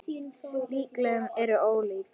Líkönin eru ólík.